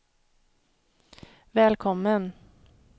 välkommen